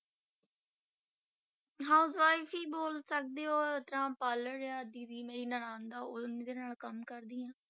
Housewife ਹੀ ਬੋਲ ਸਕਦੇ ਹੋ ਤਾਂ parlour ਆ ਦੀਦੀ ਮੇਰੀ ਨਨਾਣ ਦਾ ਉਹ ਉਹਦੇ ਨਾਲ ਕੰਮ ਕਰਦੀ ਹਾਂ।